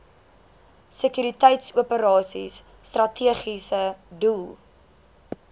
sekuriteitsoperasies strategiese doel